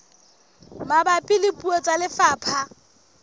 mabapi le puo tsa lefapha